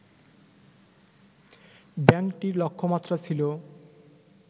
ব্যাংকটির লক্ষ্যমাত্রা ছিল